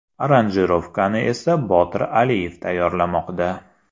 Aranjirovkani esa Botir Aliyev tayyorlamoqda.